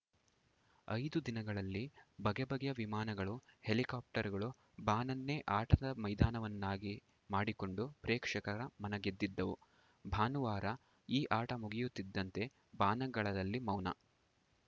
ಐದು ದಿನಗಳಲ್ಲಿ ಬಗೆ ಬಗೆಯ ವಿಮಾನಗಳು ಹೆಲಿಕಾಪ್ಟರ್‌ಗಳು ಬಾನನ್ನೇ ಆಟದ ಮೈದಾನವನ್ನಾಗಿ ಮಾಡಿಕೊಂಡು ಪ್ರೇಕ್ಷಕರ ಮನಗೆದ್ದಿದ್ದವು ಭಾನುವಾರ ಈ ಆಟ ಮುಗಿಯುತ್ತಿದ್ದಂತೆ ಬಾನಂಗಳದಲ್ಲಿ ಮೌನ